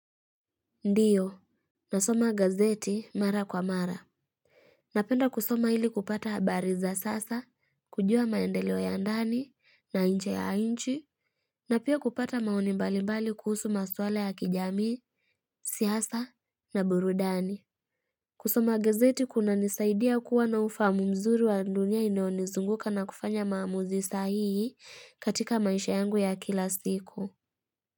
Ndio, nasoma gazeti mara kwa mara Napenda kusoma ili kupata habari za sasa, kujua maendeleo ya ndani, na nje ya inchi na pia kupata maoni mbalimbali kuhusu maswala ya kijamii, siasa na burudani kusoma gazeti kunanisaidia kuwa na ufahamu mzuri wa dunia inayonizunguka na kufanya maamuzi sahii katika maisha yangu ya kila siku.